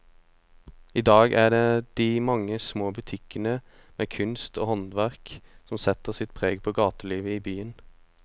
I dag er det de mange små butikkene med kunst og håndverk som setter sitt preg på gatelivet i byen.